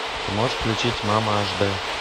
ты можешь включить мама аш д